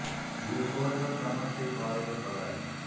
இரு கோடுகள் சமன் செய் பாதைகள் பல